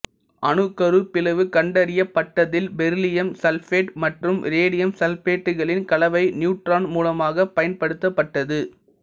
அணுக்கரு பிளவு கண்டறியப்பட்டதில் பெரிலியம் சல்பேட்டு மற்றும் ரேடியம் சல்பேட்டுகளின் கலவை நியூட்ரான் மூலமாகப் பயன்படுத்தப்பட்டது